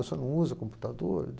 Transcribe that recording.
O senhor não usa computador?